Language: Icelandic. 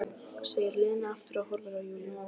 segir Lena aftur og horfir á Júlíu.